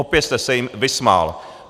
Opět jste se jim vysmál.